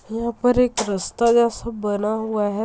यहां पर एक रास्ता जैसा बना हुआ है।